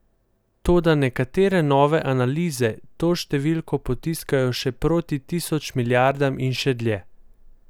Toda nekatere nove analize to številko potiskajo že proti tisoč milijardam in še dlje.